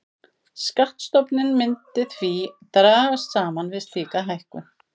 Skattstofninn myndi því dragast saman við slíka hækkun.